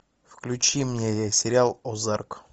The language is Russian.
включи мне сериал озарк